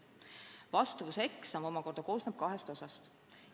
Vastavuseksam koosneb kahest osast.